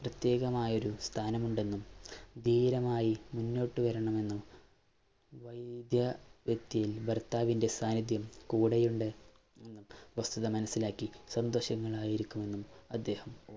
പ്രത്യേകമായ ഒരു സ്ഥാനമുണ്ടെന്നും, ധീരമായി മുന്നോട്ടു വരണമെന്നും ത്തില്‍ ഭര്‍ത്താവിന്‍റെ സാന്നിധ്യം കൂടെയുണ്ട് എന്ന വസ്തുത മനസിലാക്കി സന്തോഷങ്ങളായിരിക്കണമെന്നും അദ്ദേഹം